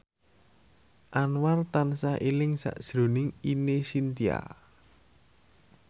Anwar tansah eling sakjroning Ine Shintya